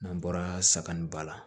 N'an bɔra sagoni ba la